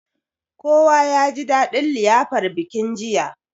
Kowa yaji dadin liyafar bikin jiya.